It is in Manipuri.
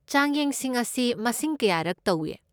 ꯆꯥꯡꯌꯦꯡꯁꯤꯡ ꯑꯁꯤ ꯃꯁꯤꯡ ꯀꯌꯥꯔꯛ ꯇꯧꯢ?